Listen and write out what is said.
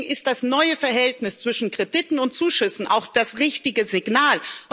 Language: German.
Deswegen ist das neue Verhältnis zwischen Krediten und Zuschüssen auch das richtige Signal.